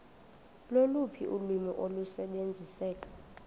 loluphi ulwimi olusebenziseka